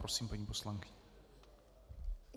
Prosím, paní poslankyně.